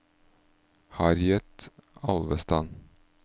Harriet Alvestad